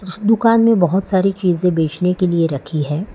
दुकान मे बहोत सारी चीजें बेचने के लिए रखी है।